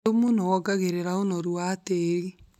Thumu nĩwongagĩrra ũnoru wa tĩri.